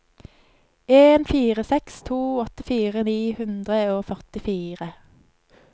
en fire seks to åttifire ni hundre og førtifire